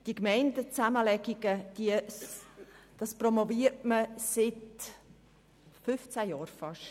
Die Gemeindezusammenlegungen promoviert man seit bald 15 Jahren.